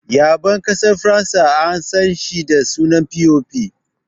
Ya6en ƙasar Faransa an san shi da sunan "POP"